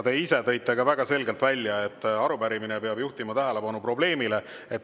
Te ise tõite ka väga selgelt välja, et arupärimine peab juhtima tähelepanu probleemile.